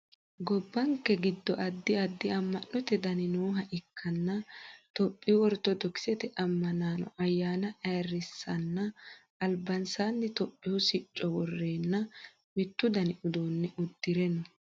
gobbanke giddo addi addi amma'note dani nooha ikkanna itiyophiyu ortodokisete ammanaano ayyaana ayeerrissaanna albansaanni itiyophiyu sicco worreenna mittu dani uduunne uddire no